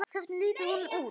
Hvernig lítur hún út?